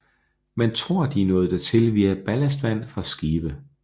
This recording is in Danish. Man tror de har nået dertil via ballastvand fra skibe